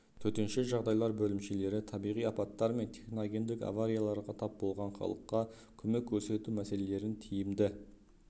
төтенше жағдайлар бөлімшелері табиғи апаттар мен техногендік аварияларға тап болған халыққа көмек көрсету мәселелерін тиімді